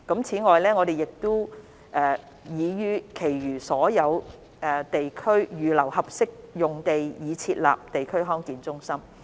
此外，我們已於其餘所有地區預留合適用地以設立地區康健中心。